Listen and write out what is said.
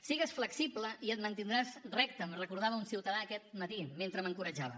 sigues flexible i et mantindràs recte em recordava un ciutadà aquest matí mentre m’encoratjava